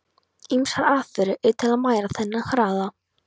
Ýmsar aðferðir eru til að mæla þennan hraða.